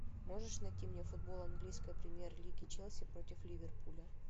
можешь найти мне футбол английской премьер лиги челси против ливерпуля